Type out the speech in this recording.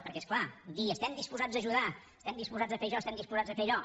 perquè és clar dir estem disposats a ajudar estem disposats a fer això estem disposats a fer allò